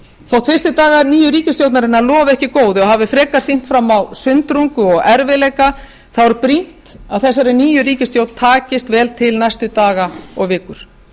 þótt fyrstu dagar nýju ríkisstjórnarinnar lofi ekki góðu hafi frekar sýnt fram á sundrungu og erfiðleika er brýnt að þessari nýju ríkisstjórn takast vel til næstu daga og vikur